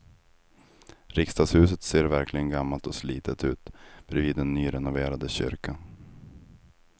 Riksdagshuset ser verkligen gammalt och slitet ut bredvid den nyrenoverade kyrkan.